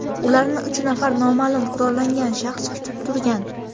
Ularni uch nafar noma’lum qurollangan shaxs kutib turgan.